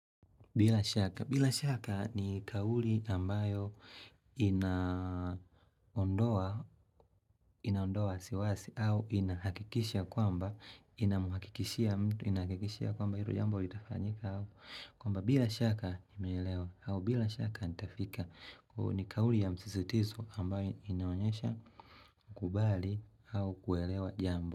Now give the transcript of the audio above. Bila shaka ni kauli ambayo inaondoa wasiwasi au inahakikisha kwamba inamuhakikishia mtu inahakikishia kwamba hilo jambo itafanyika au. Kwamba bila shaka imeelewa au bila shaka nitafika ni kauli ya msisitizo ambayo inaonyesha kubali au kuelewa jambo.